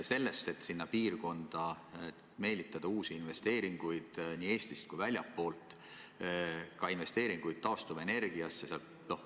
Ehk saaks sinna piirkonda meelitada uusi investeeringuid nii Eestist kui ka väljastpoolt, ka investeeringuid taastuvenergiasse.